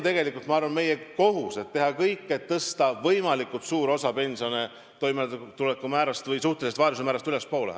Tegelikult on, ma arvan, meie kohus teha kõik, et tõsta võimalikult suur osa pensione toimetulekumäärast või suhtelise vaesuse määrast ülespoole.